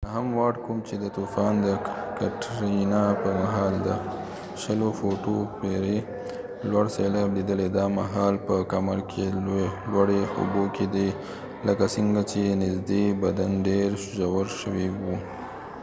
نهم وارډ، کوم چې د طوفان کټرینا په مهال د ۲۰ فوټو پورې لوړ سیلاب لیدلی، دا مهال په کمر کې لوړې اوبو کې دی لکه څنګه چې نزدې بدن ډیر ژور شوی و